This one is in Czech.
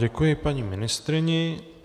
Děkuji paní ministryni.